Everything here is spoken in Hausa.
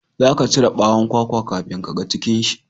za ka cire bawon kwakwa kafin ka ga cikin shi